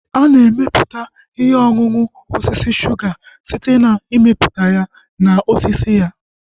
Ana emeputa ihe ọṅụṅụ osisi suga site na mmiputa ya na osisi ya